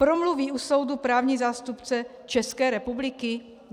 Promluví u soudu právní zástupce České republiky?